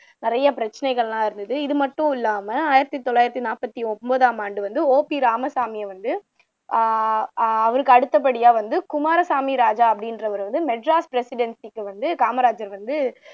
நிறைய பிரச்சினைகள் எல்லாம் இருந்தது இது மட்டும் இல்லாம ஆயிரத்து தொள்ளாயிரத்து நாற்பத்து ஒன்பதாம் ஆண்டு வந்து ஓபி ராமசாமியை வந்து அவருக்கு அடுத்த படியா வந்து குமார சாமி ராஜா அப்படின்றவர் வந்து madras presidency க்கு வந்து காமராசர் வந்து